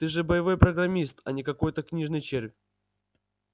ты же боевой программист а не какой-то книжный червь